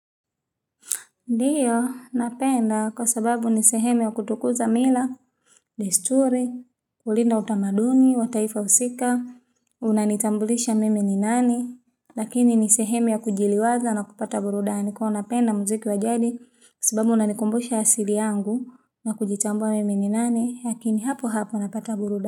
Ndiyo, napenda kwa sababu ni sehemunya kutukuza mila, desturi, kulinda utamaduni, wa taifa husika, unanitambulisha mimi ni nani, lakini ni sehemu ya kujiliwaza na kupata burudani kwa hio napenda mziki wa jadi kwa sababu unanikumbusha asili yangu na kujitambua mimi ni nani, lakini hapo hapo napata burudani.